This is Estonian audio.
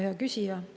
Hea küsija!